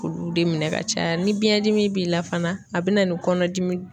Olu de minɛ ka caya ni biɲɛn dimi b'i la fana a bina ni kɔnɔdimi